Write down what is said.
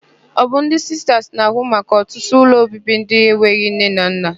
Ọ bụ ndị Sistas na-ahụ maka ọtụtụ ụlọobibi ndị enweghị nne na nna.